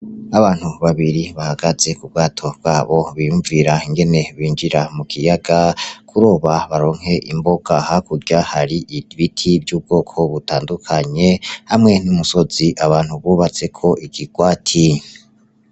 Abantu babiri bahagaze kubwato bwabo biyumvira ingene binjira mukiyaga kuroba baronke imboga hakurya hari ibiti vy' ubwoko butandukanye hamwe n' umusozi abantu bubatseko ikigwati.